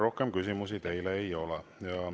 Rohkem küsimusi teile ei ole.